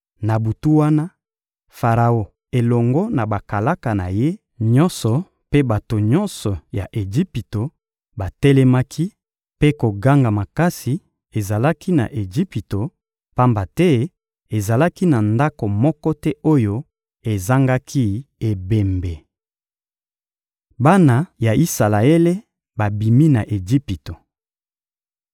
Na butu wana, Faraon elongo na bakalaka na ye nyonso mpe bato nyonso ya Ejipito batelemaki; mpe koganga makasi ezalaki na Ejipito, pamba te ezalaki na ndako moko te oyo ezangaki ebembe. Bana ya Isalaele babimi na Ejipito